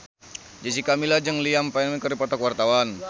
Jessica Milla jeung Liam Payne keur dipoto ku wartawan